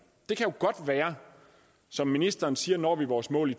som ministeren siger når vi vores mål i